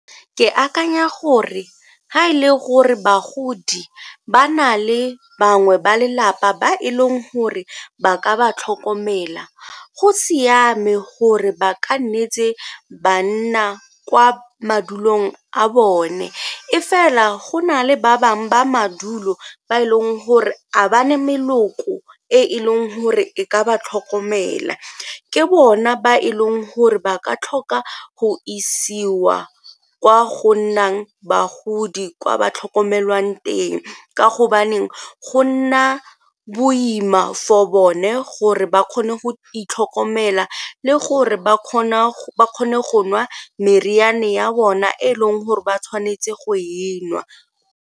Ke akanya gore ga e le gore bagodi ba na le bangwe ba lelapa ba e leng gore ba ka ba tlhokomela go siame gore ba ka ne tse ba nna kwa madulong a bone, e fela go nale ba bangwe ba madulo ba e leng gore ga ba ne meloko e e leng gore e ka ba tlhokomela ke bona ba e leng gore ba ka tlhoka go isiwa kwa go nnang bagodi kwa ba tlhokomelwang teng ka gobaneng go nna boima for bone gore ba kgone go itlhokomela le gore ba kgone go nwa meriana ya bona e leng gore ba tshwanetse go e nwa.